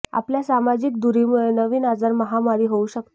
आपल्या सामाजिक दूरीमुळे नवीन आजार महामारी होऊ शकते